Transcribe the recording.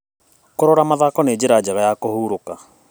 Kũrora mathako nĩ njĩra njega ya kũhurũka.